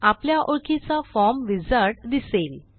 आपल्या ओळखीचा form wizard दिसेल